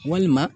Walima